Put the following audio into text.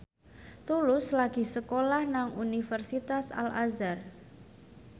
Tulus lagi sekolah nang Universitas Al Azhar